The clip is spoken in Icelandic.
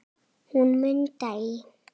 Hún Munda í